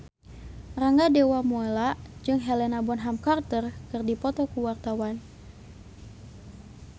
Rangga Dewamoela jeung Helena Bonham Carter keur dipoto ku wartawan